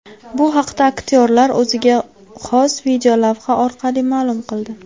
Bu haqda aktyorlar o‘ziga xos videolavha orqali ma’lum qildi .